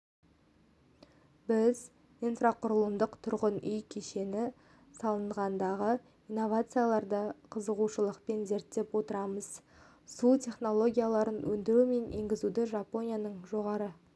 біз инфрақұрылымдық-тұрғын үй кешені саласындағы инновацияларды қызығушылықпен зерттеп отырмыз су технологияларын өндіру мен енгізудегі жапонияның жоғары